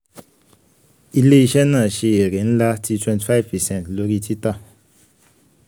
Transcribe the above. ile-iṣẹ naa ṣe ere nla ti twenty five percent lori tita